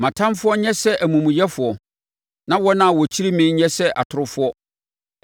“Ma mʼatamfoɔ nyɛ sɛ amumuyɛfoɔ, na wɔn a wɔkyiri me nyɛ sɛ atorofoɔ.